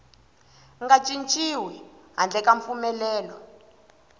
nga cinciwi handle ka mpfumelelo